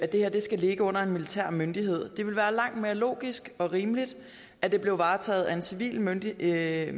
det her skal ligge under en militær myndighed det vil være langt mere logisk og rimeligt at det blev varetaget af en civil myndighed